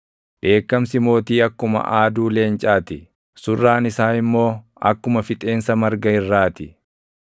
Dheekkamsi mootii akkuma aaduu leencaa ti, surraan isaa immoo akkuma fixeensa marga irratti.